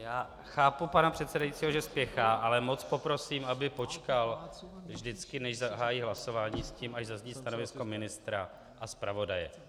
Já chápu pana předsedajícího, že spěchá, ale moc poprosím, aby počkal vždycky, než zahájí hlasování, s tím, až zazní stanovisko ministra a zpravodaje.